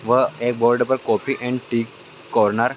वह एक बोर्ड पर कॉफी एंड टी कॉर्नर --